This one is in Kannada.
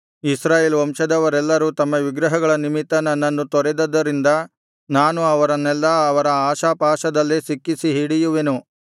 ಇಸ್ರಾಯೇಲ್ ವಂಶದವರೆಲ್ಲರೂ ತಮ್ಮ ವಿಗ್ರಹಗಳ ನಿಮಿತ್ತ ನನ್ನನ್ನು ತೊರೆದುದರಿಂದ ನಾನು ಅವರನ್ನೆಲ್ಲಾ ಅವರ ಆಶಾಪಾಶದಲ್ಲೇ ಸಿಕ್ಕಿಸಿ ಹಿಡಿಯುವೆನು